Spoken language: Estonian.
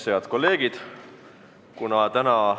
Head kolleegid!